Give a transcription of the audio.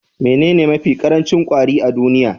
Menene mafi ƙarancin kwari a duniya?